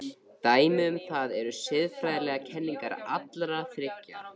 Dæmi um það eru siðfræðilegar kenningar allra þriggja.